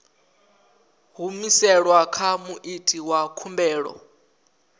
humiselwa kha muiti wa khumbelo